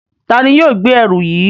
Tani yoo gbe ẹru yii?